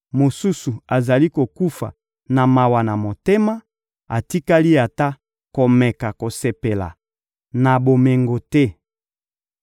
mosusu azali kokufa na mawa na motema, atikali ata komeka kosepela na bomengo te.